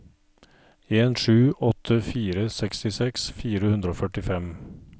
en sju åtte fire sekstiseks fire hundre og førtifem